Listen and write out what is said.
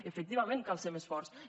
efectivament cal ser més forts